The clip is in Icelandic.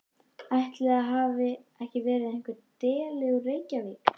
Ætli það hafi ekki verið einhver deli úr Reykjavík.